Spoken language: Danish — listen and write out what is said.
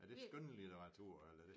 Er det skønlitteratur eller er det